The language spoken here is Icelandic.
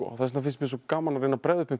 vegna finnst mér svo gaman að bregða upp einhverjum